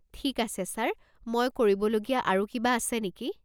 ঠিক আছে ছাৰ, মই কৰিব লগীয়া আৰু কিবা আছে নেকি?